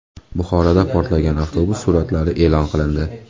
Buxoroda portlagan avtobus suratlari e’lon qilindi.